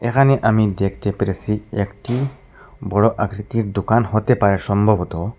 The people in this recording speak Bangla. এখানে আমি দেখতে পেরেছি একটি বড়ো আকৃতির দোকান হতে পারে সম্ভবত।